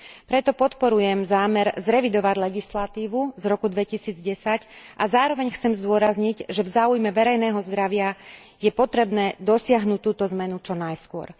Preto podporujem zámer zrevidovať legislatívu z roku 2010 a zároveň chcem zdôrazniť, že v záujme verejného zdravia je potrebné dosiahnuť túto zmenu čo najskôr.